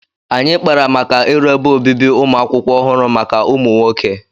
Anyị kpara maka iru ebe obibi ụmụ akwụkwọ ọhụrụ maka ụmụ nwoke